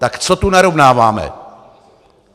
Tak co tu narovnáváme?